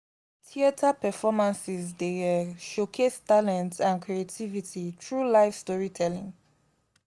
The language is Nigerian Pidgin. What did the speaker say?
theater performances dey um showcase talent and creativity through live storytelling.